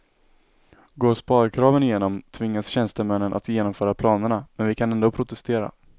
Går sparkraven igenom tvingas tjänstemännen att genomföra planerna, men vi kan ändå protestera.